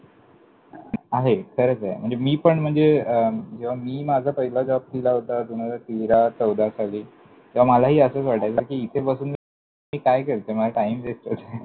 आहे, खरंचय! म्हणजे मी पण म्हणजे जेव्हा मी माझा पहिला job केला होता दोन हजार तेरा चौदा साली, तेव्हा मलाही असंच वाटायचं कि इथे बसून मी काय करतोय? माझा time waste होतोय